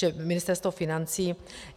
Čili Ministerstvo financí.